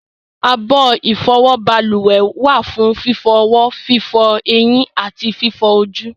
abọ́ ìfọwọ́ balùwẹ̀ wà fún fífọ ọwọ́, fífọ ẹyín àti fífọ ojú